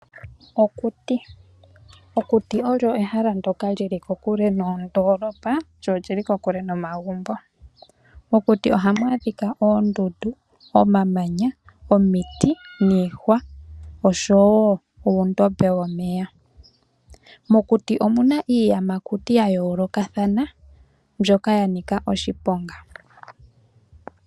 Okuti ehala ndyoka lyili kokule nondoolopa oshowo omagumbo. Ohamu adhika omamanya, iihwa nuundombe womeya. Omuna iiyamakuti ya yoolokothana mbyoka ya nika oshiponga.